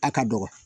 A ka dɔgɔ